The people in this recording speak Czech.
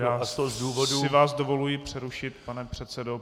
Já si vás dovoluji přerušit, pane předsedo.